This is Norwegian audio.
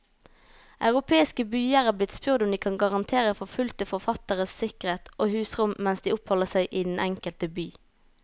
Europeiske byer er blitt spurt om de kan garantere forfulgte forfattere sikkerhet og husrom mens de oppholder seg i den enkelte by.